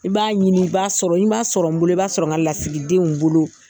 b'a ɲini i b'a sɔrɔ n'i man sɔrɔ n bolo i b'a sɔrɔ n ka lasigidenw bolo.